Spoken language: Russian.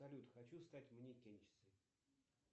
салют хочу стать манекенщицей